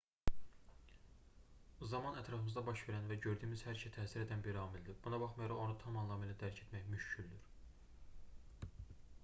zaman ətrafımızda baş verən və gördüyümüz hər işə təsir edən bir amildir buna baxmayaraq onu tam anlamı ilə dərk etmək müşküldür